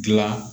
Gilan